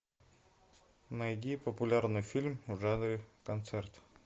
найди популярный фильм в жанре концерт